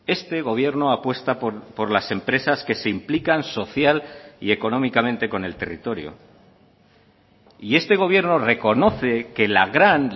este gobierno apuesta por las empresas que se implican social y económicamente con el territorio y este gobierno reconoce que la gran